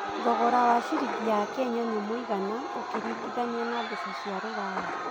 thogora wa ciringi ya Kenya nĩ mũigana ũkĩrigithania na mbeca cia rũraya